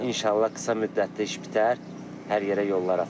İnşallah, qısa müddətdə iş bitər, hər yerə yollar açıq.